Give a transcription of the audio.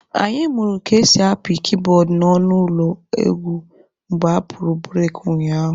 Anyị mụrụ ka esi apị kiibọọdụ n'ọnụ ụlọ egwu mgbe apụrụ bureki ụnyaahụ